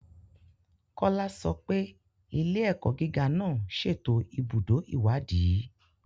Kola sọ pé ilé-ẹ̀kọ́ gíga náà ṣètò ibùdó ìwádìí.